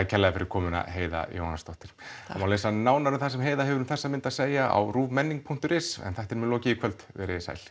kærlega fyrir komuna Heiða Jóhanssdóttir það má lesa nánar um það sem Heiða hefur um þessa mynda að segja á ruvmenning punktur is en þættinum er lokið í kvöld verið þið sæl